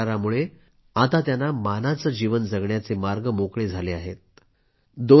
सामंजस्य करारामुळे आता त्यांना मानानं जीवन जगण्याचे मार्ग मोकळे झाले आहेत